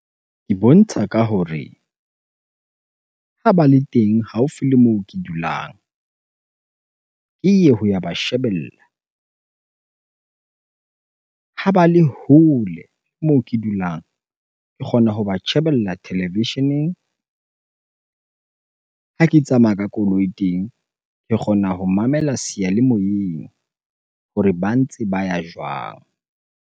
Ke bontsha ka hore ha ba le teng haufi le moo ke dulang, ke ye ho ya ba shebella. Ha ba le hole moo ke dulang ke kgona ho ba shebella televisheneng. Ha ke tsamaya ka koloi teng, ke kgona ho mamela seyalemoyeng hore ba ntse ba ya jwang?